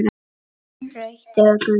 Rautt eða gult?